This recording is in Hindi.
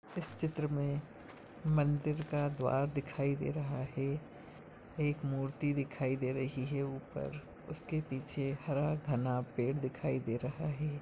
इस चित्र में मंदिर का द्वार दिखाई दे रहा हैं एक मूर्ति दिखाई दे रही हैं ऊपर उसके पीछे हरा घना पेड़ दिखाई दे रहा हैं।